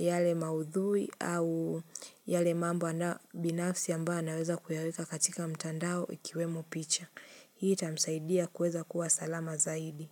yale maudhui au yale mambo anayo binafsi ambao anaweza kuyaweka katika mtandao ikiwemo picha. Hii itamsaidia kueza kuwa salama zaidi.